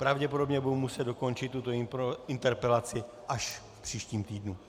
Pravděpodobně budu muset dokončit tuto interpelaci až v příštím týdnu.